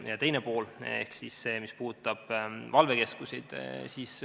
Teine pool on see, mis puudutab valvekeskuseid.